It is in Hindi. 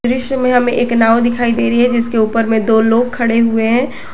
इसमें हमें एक नाव दिखाई दे रही है जिसके ऊपर में दो लोग खड़े हुए हैं।